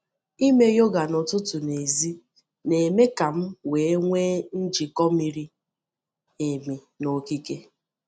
Imee yoga n’ụtụtụ n’èzí na-eme ka m wee nwee njikọ miri emi na okike.